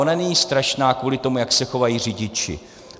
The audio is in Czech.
Ona není strašná kvůli tomu, jak se chovají řidiči.